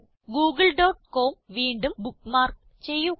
Google.com വീണ്ടും bookmark ചെയ്യുക